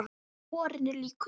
Borinn er líkur